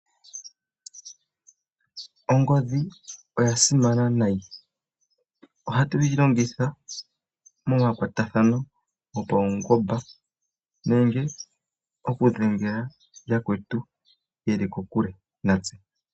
Ongodhi oya simana nayi. Ohatu yi longitha momakwatathano gopaungomba nenge oku dhengela yakwetu yeli kokule natse.